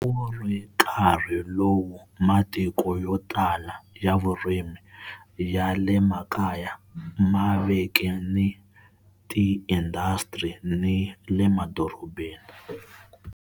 A ku ri nkarhi lowu matiko yo tala ya vurimi, ya le makaya ma veke ni tiindasitiri ni le madorobeni.